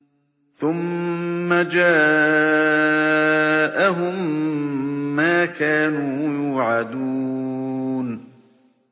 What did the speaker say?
ثُمَّ جَاءَهُم مَّا كَانُوا يُوعَدُونَ